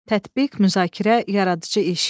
Tətbiq, müzakirə, yaradıcı iş.